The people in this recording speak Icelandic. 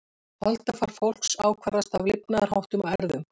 Holdafar fólks ákvarðast af lifnaðarháttum og erfðum.